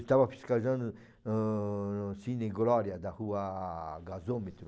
Estava fiscalizando ãh, no Cine Glória, na rua Gasômetro.